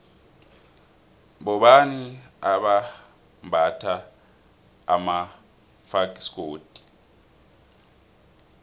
bobani abambatha amafasikodu